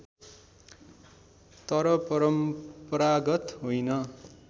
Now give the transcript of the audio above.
तर परम्परागत होइन